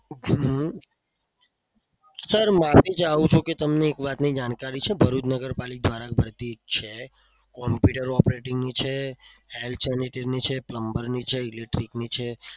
હમ sir મારે જણાવું તું કે તમને એક વાતની જાણકારી છે. ભરૂચ નગરપાલિકા દ્વારા ભરતી છે. computer operator છે છે plumber છે electric છે